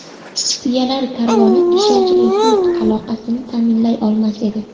Tuyalar karvoni ishonchli yuk aloqasini ta’minlay olmas edi.